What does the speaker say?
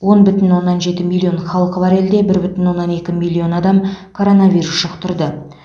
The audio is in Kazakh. он бүтін оннан жеті миллион халқы бар елде бір бүтін оннан екі миллион адам коронавирус жұқтырды